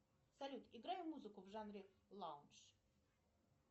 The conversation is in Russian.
салют играй музыку в жанре лаунж